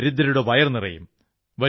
ദരിദ്രരുടെ വയർ നിറയും